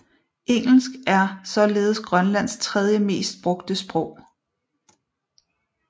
Engelsk er således Grønlands tredje mest brugte sprog